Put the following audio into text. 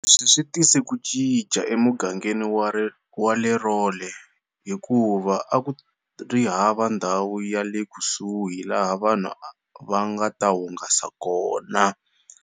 Leswi swi tise ku cinca emugangeni wale rolle hikuva akuri hava ndhawu yale kusuhi laha vanhu vangata hungasa kona.